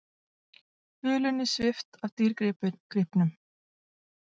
Hulunni svipt af dýrgripnum